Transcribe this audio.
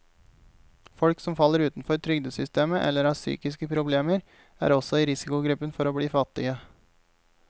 Folk som faller utenfor trygdesystemet eller har psykiske problemer, er også i risikogruppen for å bli fattige.